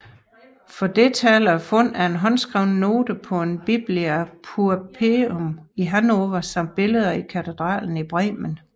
For dette taler fundet af en håndskrevet note på en Biblia Pauperum i Hannover samt billeder i katedralen i Bremen